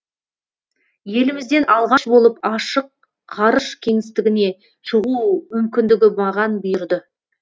елімізден алғаш болып ашық ғарыш кеңістігіне шығу мүмкіндігі маған бұйырды